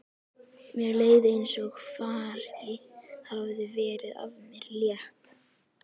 Mér leið eins og fargi hefði verið af mér létt.